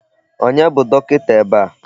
Onye bụ dọkịta ebe a?